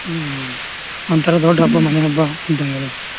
ಹ್ಮ್ ಹ್ಮ್ ಒಂತರಾ ದೊಡ್ಡ ಹಬ್ಬ ಮನೇ ಹಬ್ಬ ಇದಂಗೆಲ್ಲ.